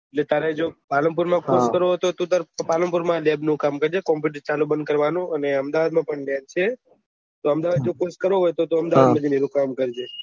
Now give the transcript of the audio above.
એટલે તારે જો પાલનપુર માં કોર્ષ કરું હોય તો ટુ તારે પાલનપુર માં લેબ નું કામ કરજે કોમ્પુટર ચાલુ બંદ કરવાનું અને અમદાવાદ માં પણ લેબ છે તો અમદાવાદ માં થી કોર્ષ કરવું હોય તો અમદાવાદ માં ભી કામ કરજે